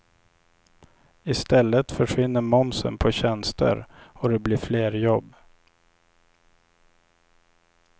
I stället försvinner momsen på tjänster och det blir fler jobb.